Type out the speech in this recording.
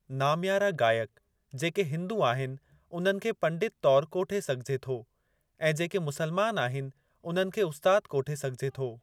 नाम्यारा गायक जेके हिंदू आहिनि उन्हनि खे पंडित तौर कोठे सघिजे थो, ऐं जेके मुसलमान आहिनि उन्हनि खे उस्तादु कोठे सघिजे थो।